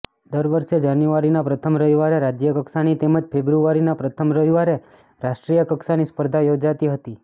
દર વર્ષે જાન્યુઆરીના પ્રથમ રવિવારે રાજયકક્ષાની તેમજ ફેબ્રુઆરીના પ્રથમ રવીવારે રાષ્ટ્રીયકક્ષાની સ્પર્ધા યોજાતી હતી